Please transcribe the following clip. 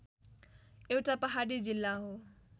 एउटा पहाडी जिल्ला हो